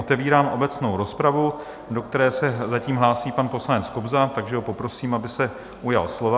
Otevírám obecnou rozpravu, do které se zatím hlásí pan poslanec Kobza, takže ho poprosím, aby se ujal slova.